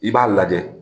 I b'a lajɛ